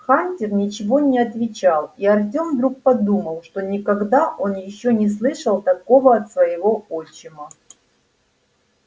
хантер ничего не отвечал и артем вдруг подумал что никогда он ещё не слышал такого от своего отчима